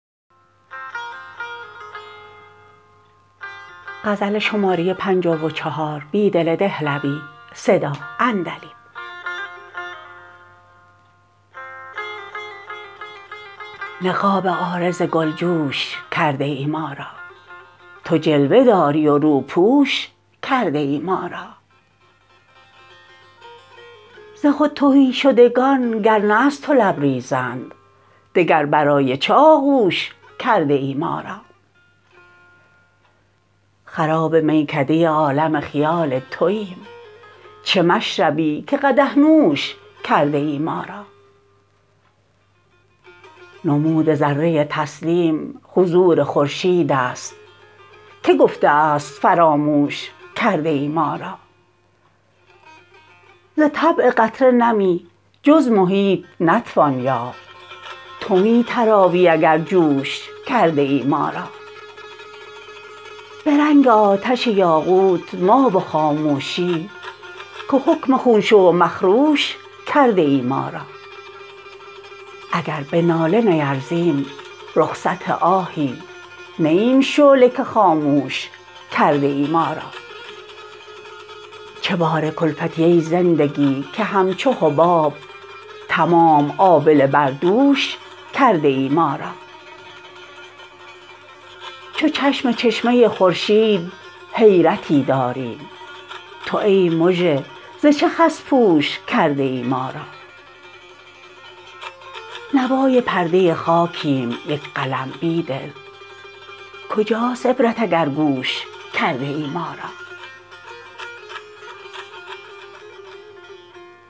نقاب عارض گلجوش کرده ای ما را تو جلوه داری و روپوش کرده ای ما را ز خود تهی شدگان گر نه از تو لبریزند دگر برای چه آغوش کرده ای ما را خراب میکده عالم خیال توایم چه مشربی که قدح نوش کرده ای ما را نمود ذره طلسم حضور خورشید است که گفته است فراموش کرده ای ما را ز طبع قطره نمی جز محیط نتوان یافت تو می تراوی اگر جوش کرده ای ما را به رنگ آتش یاقوت ما و خاموشی که حکم خون شو و مخروش کرده ای ما را اگر به ناله نیرزیم رخصت آهی نه ایم شعله که خاموش کرده ای ما را چه بار کلفتی ای زندگی که همچو حباب تمام آبله بردوش کرده ای ما را چو چشم چشمه خورشید حیرتی داریم تو ای مژه ز چه خس پوش کرده ای ما را نوای پرده خاکیم یک قلم بیدل کجاست عبرت اگر گوش کرده ای ما را